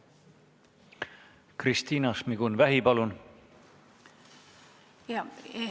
Kristina Šmigun-Vähi, palun!